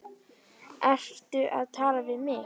Ertu að tala við mig?